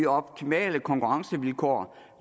optimale konkurrencevilkår